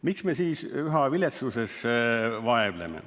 Miks me siis üha viletsuses vireleme?